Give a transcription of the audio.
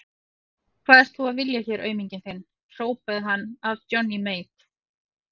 Hvað ert þú að vilja hér auminginn þinn, hrópaði hann að Johnny Mate.